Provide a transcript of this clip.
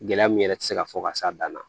Gɛlɛya min yɛrɛ ti se ka fɔ ka s'a dan na